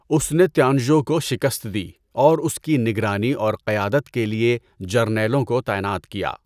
اس نے تیانژو کو شکست دی اور اس کی نگرانی اور قیادت کے لیے جرنیلوں کو تعینات کیا۔